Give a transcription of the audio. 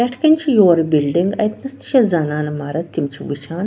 پٮ۪ٹھہٕ کنہِ چھ یورٕ بِلڈِنگ اَتہِ نس تہِ چھ زنانہٕ مرٕدتِم چھ وُچھان